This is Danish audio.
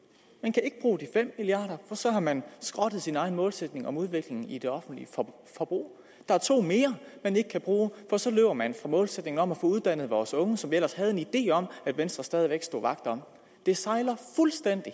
og fem milliarder for så har man skrottet sin egen målsætning om udviklingen i det offentlige forbrug der er to mere man ikke kan bruge for så løber man fra målsætningen om at få uddannet vores unge som vi ellers havde en idé om at venstre stadig væk stod vagt om det sejler fuldstændig